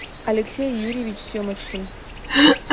алексей юрьевич семочкин